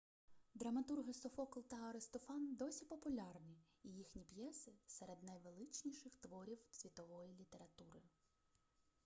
драматурги софокл та аристофан досі популярні і їхні п'єси серед найвеличніших творів світової літератури